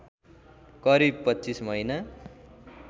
करिव २५ महिना